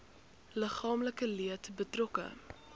liggaamlike leed betrokke